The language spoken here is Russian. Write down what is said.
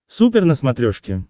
супер на смотрешке